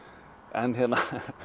en hérna